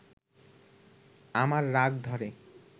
আমার রাগ ধরে